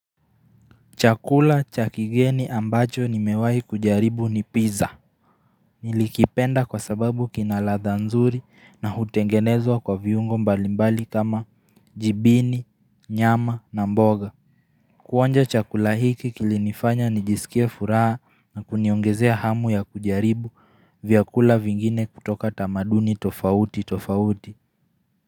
Chakula chakigeni ambacho nimewahi kujaribu ni pizza. Nilikipenda kwa sababu kinaladha nzuri na hutengenezwa kwa viungo mbalimbali kama jibini, nyama na mboga. Kuonja chakula hiki kilinifanya nijisikie furaha na kuniongezea hamu ya kujaribu vyakula vingine kutoka tamaduni tofauti tofauti.